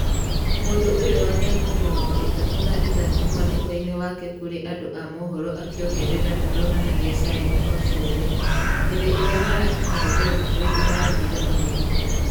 Mũndũ ũyũ wa mĩaka mĩrongo ĩtatũ na ithatũ mwandĩko-inĩ wake kũrĩ andũ a mũhoro akĩongerera ndaronanqgiq signi...o ciothe. Hĩndĩ ĩrĩa marakinyire belgrade marathire magĩthimwo.